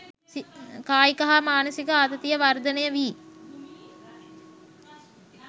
කායික හා මානසික ආතතිය වර්ධනය වී